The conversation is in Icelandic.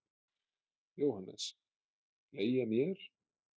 JÓHANNES: Leigja mér?